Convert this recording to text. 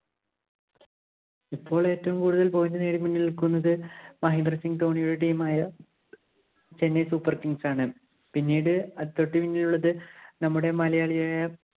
ഇപ്പോള്‍ ഏറ്റവും കൂടുതല്‍ point നേടി മുന്നില്‍ നില്‍ക്കുന്നത് മഹേന്ദ്രസിംഗ് ധോണിയുടെ team ആയ Chennai Super Kings ആണ്. പിന്നിട് തൊട്ട് പിന്നില്‍ ഉള്ളത് നമ്മുടെ മലയാളിയായ